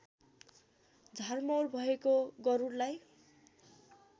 झारमौर भएको गरूडलाई